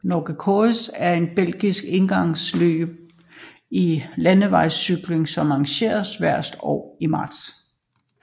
Nokere Koerse er et belgisk endagsløb i landevejscykling som arrangeres hvert år i marts